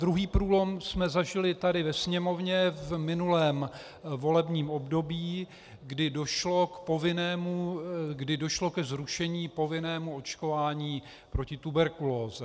Druhý průlom jsme zažili tady ve sněmovně v minulém volebním období, kdy došlo ke zrušení povinného očkování proti tuberkulóze.